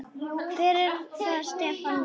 Hver er það Stefán minn?